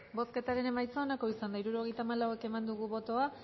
bozketaren emaitza onako izan da hirurogeita hamalau eman dugu bozka